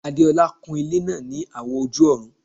Adeola kun ilẹ́ náà ní àwọ̀ ojú-ọ̀run